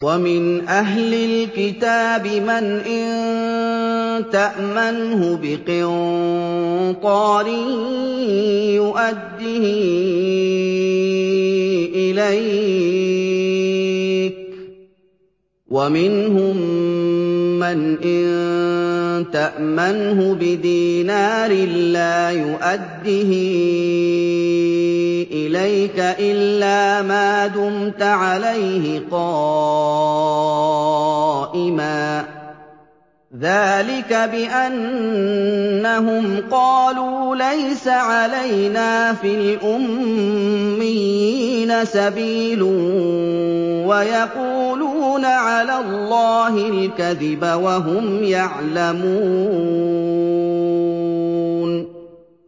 ۞ وَمِنْ أَهْلِ الْكِتَابِ مَنْ إِن تَأْمَنْهُ بِقِنطَارٍ يُؤَدِّهِ إِلَيْكَ وَمِنْهُم مَّنْ إِن تَأْمَنْهُ بِدِينَارٍ لَّا يُؤَدِّهِ إِلَيْكَ إِلَّا مَا دُمْتَ عَلَيْهِ قَائِمًا ۗ ذَٰلِكَ بِأَنَّهُمْ قَالُوا لَيْسَ عَلَيْنَا فِي الْأُمِّيِّينَ سَبِيلٌ وَيَقُولُونَ عَلَى اللَّهِ الْكَذِبَ وَهُمْ يَعْلَمُونَ